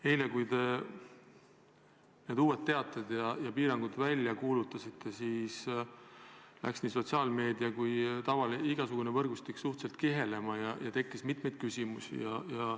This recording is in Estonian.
Eile, kui te need uued piirangud välja kuulutasite, läks nii sotsiaalmeedia kui ka igasugune võrgustik suhteliselt kihama ja tekkis mitmeid küsimusi.